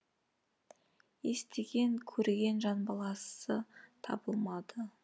естіген көрген жан баласы табылмады